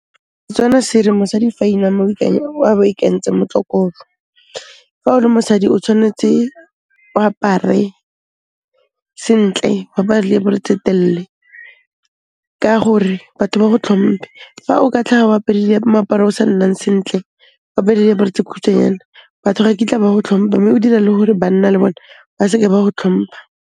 Setswana se re mosadi fa a inama a be a ikantse mokokotlo. Fa o le mosadi o tshwanetse, o apare, sentle, o apare le diaparo tse telle, ka gore batho ba go tlhompe. Fa o ka tlhaga o apere moaparo o sa nnang sentle, o apere diaparo tse kgutshwanyane, batho ga kitla ba go tlhompha mme o dira le gore banna le bone ba seke ba go tlhompha.